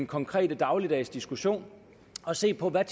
konkrete dagligdags diskussion og se på hvad